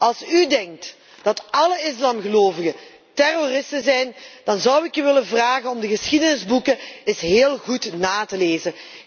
Als u denkt dat alle islamgelovigen terroristen zijn, dan zou ik u willen vragen om de geschiedenisboeken eens heel goed na te lezen.